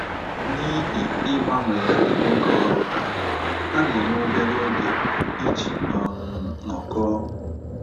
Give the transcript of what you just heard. N’ihi ịgbanwegharị oge ọrụ ha, ha na - enwe obere oge iji um nọkọọ.